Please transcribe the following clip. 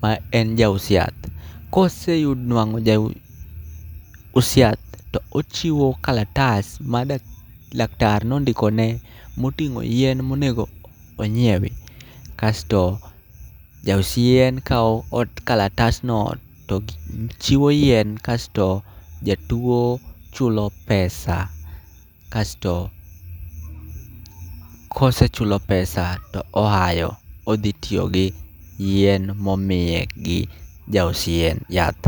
ma en jaus yath. Kose nwang'o jaus yath, to ochiwo kalatas ma dak, laktar nondikone moting'o yien monego onyiewi. Kasto jaus yien kawo ot, kalatasno to chiwo yien kasto jatuo chulo pesa. Kasto kosechulo pesa to ohayo, odhi tiyo gi yien momiye gi jaus yien, yath.